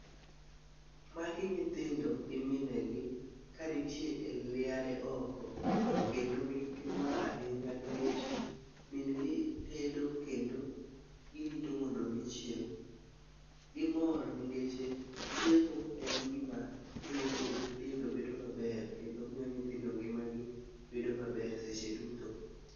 Magi nyithindo gi minegi, ka nitie e liare oko kendo gin gi mor ahinya nikech mingi tedo kendo girito mondo gichiem. Gimor ningeche, chiemo en gima miyo dend nyithindo bedo maber ,kendo miyo nyithindo ngimagi bedo maber seche duto.